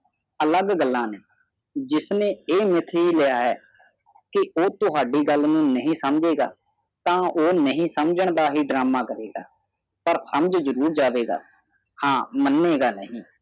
ਅਲੱਗ ਗੱਲਾਂ ਨੇ ਜਿਸਨੇ ਇਹ ਮਿਥ ਹੀ ਲਿਆ ਹੈ ਕਿ ਉਹ ਤੁਹਾਡੀ ਗੱਲ ਨੂੰ ਨਹੀਂ ਸਮਝੇਗਾ ਤਾ ਉਹ ਨਹੀਂ ਸਮਝਣ ਦਾ ਡਰਾਮਾ ਕਰੂਗਾ ਪਰ ਸਮਝ ਜਰੂਰ ਜਾਵੇਗਾ ਹਾਂ ਮਾਣੇਗਾ ਨਹੀਂ